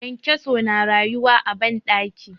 kyankyaso na rayuwa a banɗaki